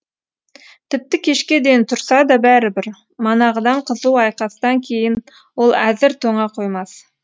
тіпті кешке дейін тұрса да бәрібір манағыдан қызу айқастан кейін ол әзір тоңа қоймас